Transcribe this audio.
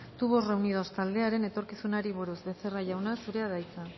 tubos reunidos taldearen etorkizunari buruz becerra jauna zurea da hitza